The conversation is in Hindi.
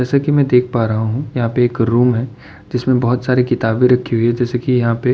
जैसा कि मैं देख पा रहा हूँ। यहाँ पे एक रूम है जिसमें बहोत सारी किताबें रखी हुई है जैसे कि यहाँ पे --